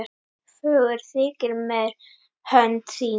Fögur þykir mér hönd þín